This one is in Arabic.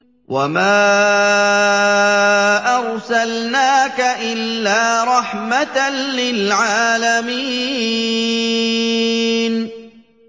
وَمَا أَرْسَلْنَاكَ إِلَّا رَحْمَةً لِّلْعَالَمِينَ